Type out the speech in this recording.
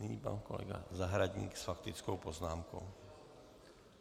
Nyní pan kolega Zahradník s faktickou poznámkou.